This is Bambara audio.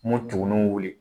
Mun tugunninw wuli